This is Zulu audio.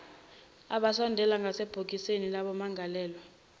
asondele ngasebhokisini labamangalelwa